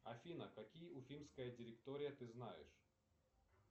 афина какие уфимская директория ты знаешь